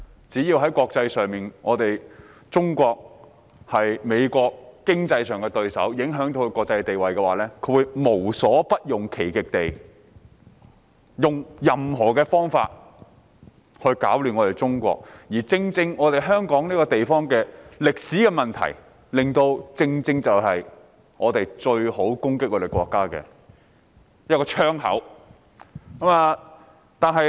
只要中國在國際上仍是美國的經濟對手及影響到其國際地位，美國便會無所不用其極地以任何方式攪亂中國，而正正因為香港這個地方的歷史問題，令香港成為別人攻擊我們國家的最佳窗口。